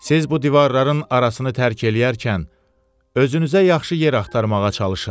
Siz bu divarların arasını tərk eləyərkən, özünüzə yaxşı yer axtarmağa çalışın.